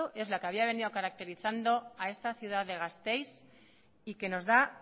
es la que había venido caracterizando a esta ciudad de gasteiz y que nos da